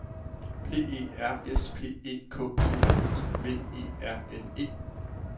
P E R S P E K T I V E R N E